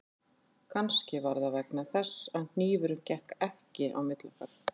Kannski var það vegna þess að hnífurinn gekk ekki milli okkar